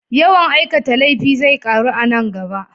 Yawan aikata laifi zai ƙaru a nan gaba.